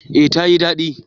Eh ta yi dadi